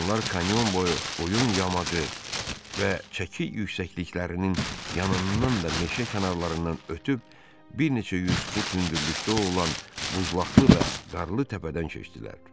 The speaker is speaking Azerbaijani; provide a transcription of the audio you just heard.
Onlar kanyon boyu qoyun yamacı və çəki yüksəkliklərinin yanından və meşə kənarlarından ötüb bir neçə yüz fut hündürlükdə olan buzlaqlı və qarlı təpədən keçdilər.